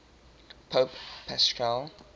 pope paschal